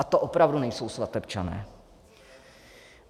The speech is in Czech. A to opravdu nejsou svatebčané.